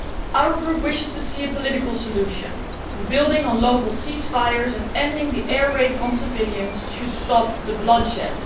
Our Group wishes to see a political solution, and building on local ceasefires and ending the air raids on civilians should stop the bloodshed.